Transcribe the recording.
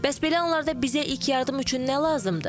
Bəs belə anlarda bizə ilk yardım üçün nə lazımdır?